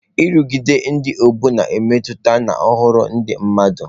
Nrụgide ndị ọgbọ na-emetụta nhọrọ ndị mmadụ.